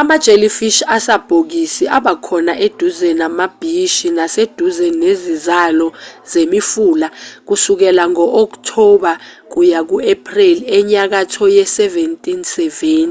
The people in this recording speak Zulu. ama-jellyfish asabhokisi abakhona eduze namabhishi naseduze nezizalo zemifula kusukela ngo-october kuya ku-april enyakatho ye-1770